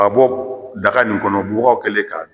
Ka bɔ daga nin kɔnɔ bubaga kɛlen k'a dun.